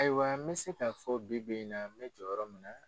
Ayiwa n bɛ se k'a fɔ bi bi in na n be jɔyɔrɔ min na.